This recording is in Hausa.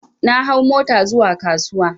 Na hau mota zuwa kasuwa